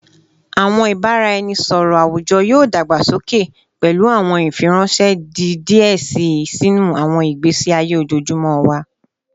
Awọn ibaraẹnisọrọ awujọ yoo dagbasoke, pẹlu awọn ifiranṣẹ di diẹ sii sinu awọn igbesi aye ojoojumọ wa